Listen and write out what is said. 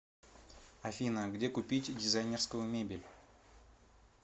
афина где купить дизайнерскую мебель